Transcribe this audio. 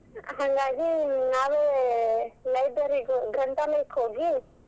ಹಂಗಾಗಿ ನಾವೇ library ಗ್ ಗ್ರಂಥಾಲಯಕ್ ಹೋಗಿ.